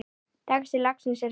Texti lagsins er þessi